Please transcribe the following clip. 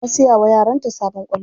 Ta siya wa yaranta sabon kwallo.